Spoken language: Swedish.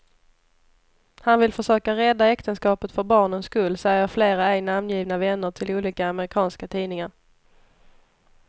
Han vill försöka rädda äktenskapet för barnens skull, säger flera ej namngivna vänner till olika amerikanska tidningar.